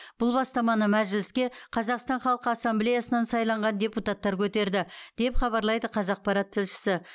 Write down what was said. бұл бастаманы мәжіліске қазақстан халқы ассамблеясынан сайланған депутаттар көтерді деп хабарлайды қазақпарат тілшісі